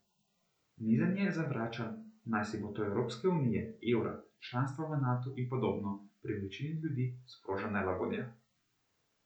Nizanje zavračanj, najsi bo to Evropske unije, evra, članstva v Natu in podobno, pri večini ljudi sproža nelagodje.